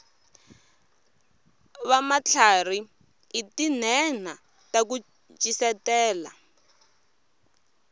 vamatlharhi i tinhenha taku ncisetela